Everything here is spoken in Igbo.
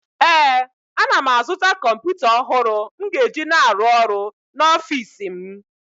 ee, ana m azụta kọmpụta ọhụrụ m ga-eji na-arụ ọrụ n’ọfịs m